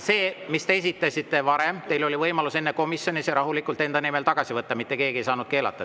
See, mille te esitasite varem, oli teil enne komisjonis võimalik rahulikult enda nimel tagasi võtta, mitte keegi ei saanud keelata.